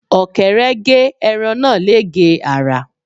Ọ̀kẹ́rẹ́ gé ẹran náà légèé àrà.